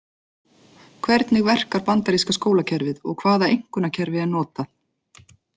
Hvernig verkar bandaríska skólakerfið og hvaða einkunnakerfi er notað?